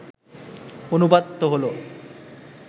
অনুবাদ তো হলো